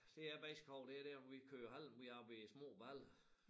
Det jeg mest kan hove det dér hvor vi kørte halm derop i små baller